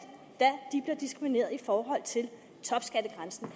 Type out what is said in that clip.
da diskrimineret i forhold til topskattegrænsen